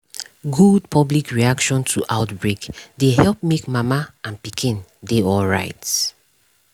good public reaction to outbreak dey help make mama and pikin dey alright